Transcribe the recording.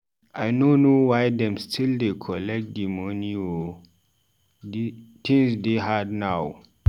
I no know why dem still dey collect tithe moni o, tins dey hard now.